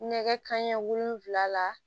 Nɛgɛ kanɲɛ wolonwula la